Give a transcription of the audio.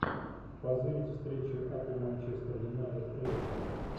позырить встречу апл манчестер юнайтед эвертон